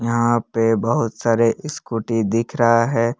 यहां पे बहुत सारे स्कूटी दिख रहा है।